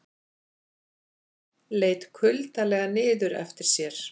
Leit kuldalega niður eftir sér.